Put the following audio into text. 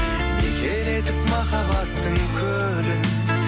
мекен етіп махаббаттың көлін